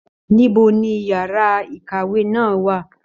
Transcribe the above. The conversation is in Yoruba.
Níbo ní yàrá ìkàwé náà wà?